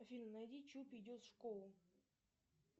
афина найди чупи идет в школу